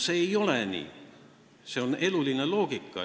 See ei ole nii, see on elu loogika.